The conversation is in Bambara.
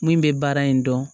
Min bɛ baara in dɔn